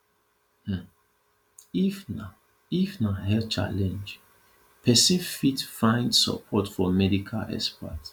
um if na if na health challenge person fit find support for medical expert